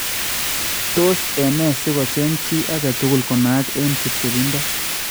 Tos ene sikocheng� chi aketukul konaak en chepchebindo